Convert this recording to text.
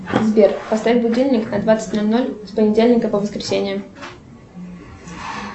сбер поставь будильник на двадцать ноль ноль с понедельника по воскресенье